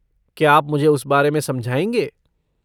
क्या आप मुझे उस बारे में समझाएँगे?